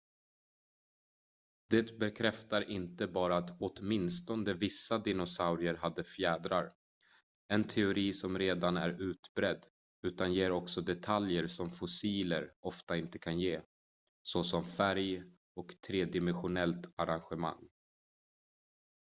det bekräftar inte bara att åtminstone vissa dinosaurier hade fjädrar en teori som redan är utbredd utan ger också detaljer som fossiler ofta inte kan ge såsom färg och tredimensionellt arrangemang